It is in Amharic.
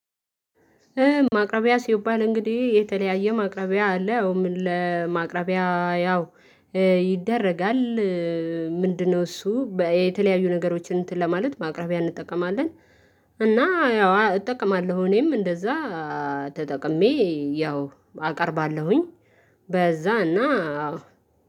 ማቅረቢያ ሲባል እንግዲህ የተለያየ ማቅረቢያ አለ። አዎ ለማቅረቢያ ያው ይደረጋል ምንድነው? እሱ የተለያዩ ነገሮችን እንትን ለማለት ማቅረቢያ እንጠቀማለን። እና ያው እጠቀማለሁ እኔም እንደዚያ ተጠቅሜ ያው አቀርባለሁኝ። በዚያ እና